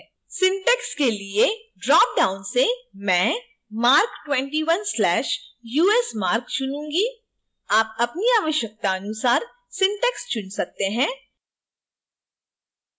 syntax के लिए drop down से मैं marc21/usmarc चुनूँगी